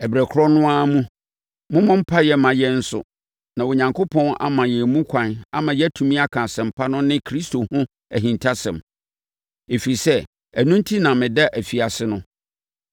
Ɛberɛ korɔ no ara mu, mommɔ mpaeɛ mma yɛn nso na Onyankopɔn ama yɛn mu kwan ama yɛatumi aka Asɛmpa no ne Kristo ho ahintasɛm. Ɛfiri sɛ, ɛno enti na meda afiase no.